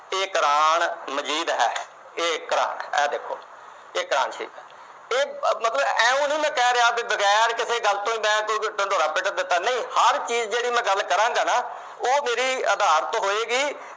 ਇਹ ਕੁਰਾਨ ਮਜੀਦ ਏ। ਇਹ ਕੁਰਾਨ, ਆਹ ਦੇਖੋ। ਇਹ ਕੁਰਾਨ ਸ਼ਰੀਫ ਏ। ਇਹ ਆਇਓ ਨੀ ਮੈਂ ਕਹਿ ਰਿਹਾ, ਬਗੈਰ ਕਿਸੀ ਗੱਲ ਤੋਂ। ਮੈਂ ਕੋਈ ਢਿੰਡੋਰਾ ਪਿੱਟ ਦਿੱਤਾ। ਹਰ ਮੈਂ ਜੋ ਕੋਈ ਗੱਲ ਕਰਾਗਾਂ, ਉਹ ਮੇਰੀ ਅਧਾਰਤ ਹੋਏਗੀ।